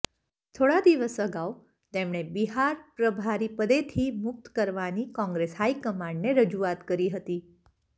થોડા દિવસ અગાઉ તેમણે બિહાર પ્રભારી પદેથી મુક્ત કરવાની કોંગ્રેસ હાઇ કમાન્ડને રજૂઆત કરી હતી